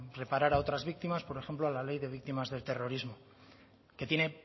reparar a otras víctimas por ejemplo a la ley de víctimas del terrorismo que tiene